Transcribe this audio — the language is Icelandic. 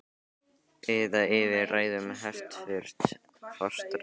Eða yfir ræðum hæstvirts forsætisráðherra?